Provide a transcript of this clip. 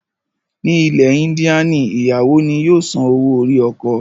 Ní ilẹ̀ Índíànì ìyàwó ni yóò san owó orí ọkọ.